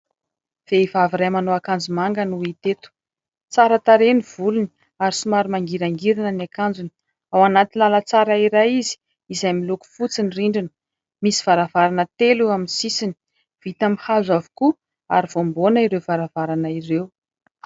Vehivavy iray manao akanjo manga no hita eto. Tsara tarehy ny volony ary somary mangirangirana ny akanjony, ao anaty lalantsara iray izy izay miloko fotsy ny rindrina, misy varavarana telo eo amin'ny sisiny, vita amin'ny hazo avokoa ary voamboana ireo varavarana ireo.